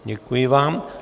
Děkuji vám.